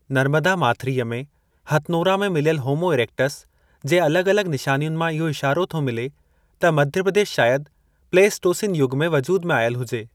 नर्मदा माथिरीअ में हथनोरा में मिलियल होमो इरेक्टस जे अलॻ-अलॻ निशानियुनि मां इहो इशारो थो मिले त मध्य प्रदेश शायद प्लेइस्टोसिन युग में वजूद में आयल हुजे।